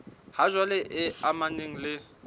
ha jwale e amanang le